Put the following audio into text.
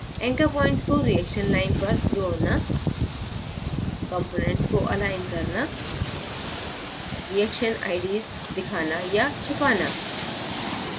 anchor points को reaction line पर जोड़ना components को अलाइन करना reaction ids दिखाना/छिपाना